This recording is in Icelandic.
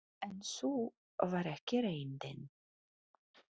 En sú var ekki reyndin.